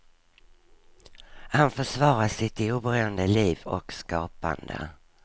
Han försvarar sitt oberoende liv och skapande.